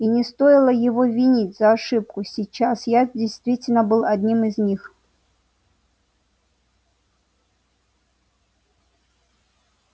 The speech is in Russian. и не стоило его винить за ошибку сейчас я действительно был одним из них